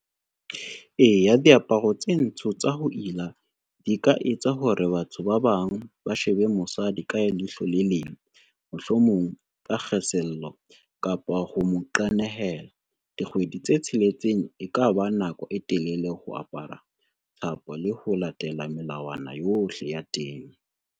Eya, diaparo tse ntsho tsa ho ila di ka etsa hore batho ba bang ba shebe mosadi ka leihlo le leng. Mohlomong ka kgesello kapa ho mo qenehela, dikgwedi tse tsheletseng e ka ba nako e telele ho apara thapo le ho latela melawana yohle ya teng.